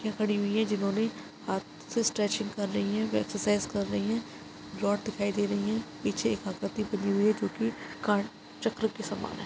लडकियाँ खड़ी हुई है जिन्होंने हाथ से स्ट्रेचिंग कर रही है व एक्सर्साइज़ कर रही है रोड दिखाई दे रही है पीछे एक आकृति बनी हुई है जोकि कार्ड चक्र के समान हैं।